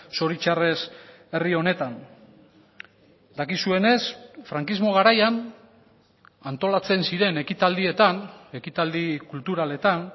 zoritxarrez herri honetan dakizuenez frankismo garaian antolatzen ziren ekitaldietan ekitaldi kulturaletan